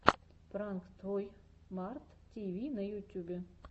пранк той март ти ви на ютюбе